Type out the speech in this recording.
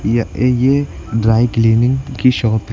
यह य ये ड्राइक्लीनिंग कि शॉप है।